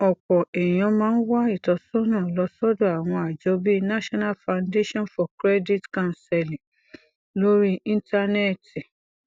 òpò èèyàn máa ń wá ìtósónà lọ sódò àwọn àjọ bíi national foundation for credit counseling lórí íńtánéètì